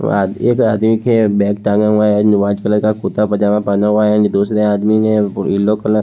दो आद एक आदमी के बैग टंगा हुआ है नुआ चूआ का कुर्ता पैजामा पहना हुआ है दूसरे आदमी ने येलो कल--